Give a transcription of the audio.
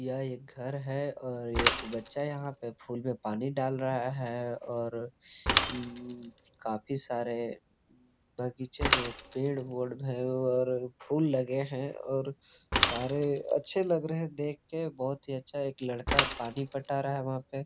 यह एक घर है और एक बच्चा यहां पे फूल में पानी डाल रहा है और उम्म काफी सारे बगीचे में पेड़ ओढ़ब है और फूल लगे है और सारे अच्छे लग रहे है देख के बहुत ही अच्छा एक लड़का पानी पटा रहा है वहां पे।